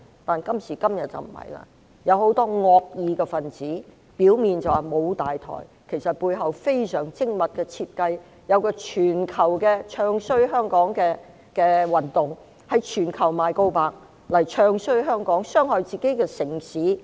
但今時今日，情況不一樣，有很多惡意分子，表面說沒有大台，其實背後有非常精密的設計，有一個全球"唱衰"香港的運動，在全球刊登廣告"唱衰"香港，傷害自己的城市。